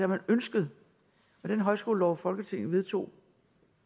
man ønsket i den højskolelov folketinget vedtog